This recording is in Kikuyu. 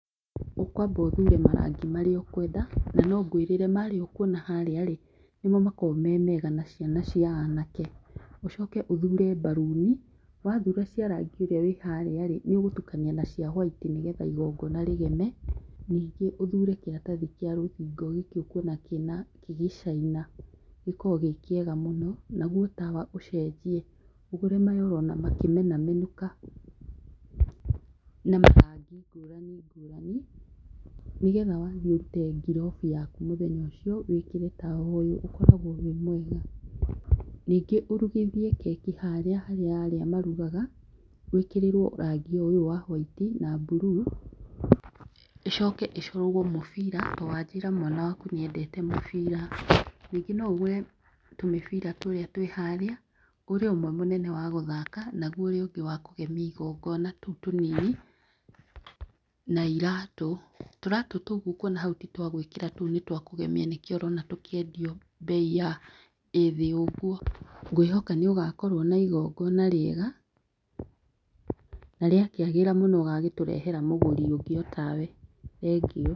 Ũkwamba ũthure marangi marĩa ũkwenda na no ngwĩrĩre, marĩa ũkuona harĩa rĩ, nĩmo makoragwo me mega na ciana cia anake. Ũcoke ũthure mbaruni, wathura cia rangi ũrĩ wĩ harĩ rĩ, nĩ ũgũtukania na cia waiti nĩgetha igongona rĩgeme. Ningĩ ũthure kĩratathi kĩa rũthingo, gĩkĩ ũkuona kĩna kĩgĩcaina, gĩkoragwo gĩ kĩega mũno. Naguo tawa ũcenjie ũgũre maya ũrona makĩ menamenũka na marangi ngũrani ngũrani nĩgetha wathiĩ ũrute ngirobu yaku mũthenya ũcio wĩkĩre tawa ũyũ, ũkoragwo wĩ mwega. Ningĩ ũrugithie keki harĩa harĩa arĩa marugaga, wĩkĩrĩrwo rangi o ũyũ wa hwaiti na mburuu, ĩcoke ĩcorwo mũbira to wanjĩra mwana waku nĩendete mũbira. Rĩngĩ no ũgũre tũmĩbira tũrĩa twĩ harĩa, ũrĩa ũmwe mũnene wa gũthaka na guo ũrĩa ũngĩ wa kũgemia igongona, tũu tũnini. Na iratũ, tũratũ tũu ũguo ũkuona hau ti twa gwĩkĩra, tũu nĩ twa kũgemia nĩkĩo ũrona tũkĩendio mbei ĩ thĩ ũguo. Ngwĩhoka nĩ ũgakorwo na igongona rĩega na rĩakĩagĩra mũno, ũgagĩtũrehera mũgũri ũngĩ o tawe. Thengiũ.